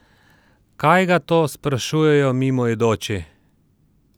Kaj ga to sprašujejo mimoidoči?